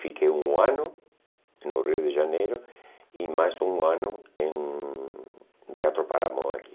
Fiquei um ano no Rio de Janeiro e mais um ano em no Teatro Paramão aqui.